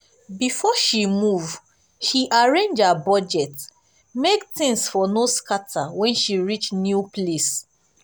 before she move she arrange her budget make things for no scatter for no scatter when she reach new place.